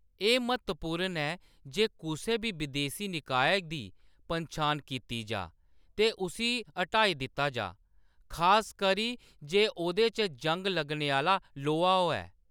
एह्‌‌ म्हत्तवपूर्ण ऐ जे कुसै बी बिदेशी निकाय दी पन्छान कीती जाऽ ते उसी हटाई दित्ता जाऽ, खासकरी जे ओह्‌‌‌‌दे च जंग लग्गने आह्‌‌‌ला लोहा होऐ।